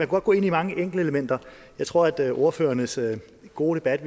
godt gå ind i mange enkeltelementer jeg tror at jeg ordførernes gode debat